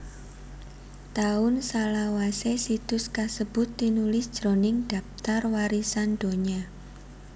Taun salawasé situs kasebut tinulis jroning Dhaptar Warisan Donya